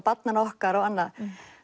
barnanna okkar og annað